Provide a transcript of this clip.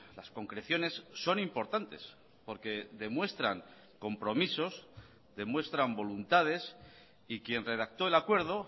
las concreciones son importantes porque demuestran compromisos demuestran voluntades y quien redactó el acuerdo